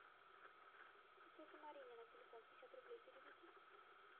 тете марине на телефон пятьдесят рублей переведи